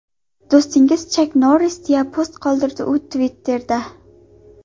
Do‘stingiz Chak Norris”, deya post qoldirdi u Twitter’da.